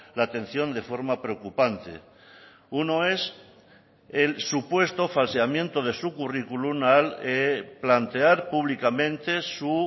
la atención de forma preocupante uno es el supuesto falseamiento de su currículum al plantear públicamente su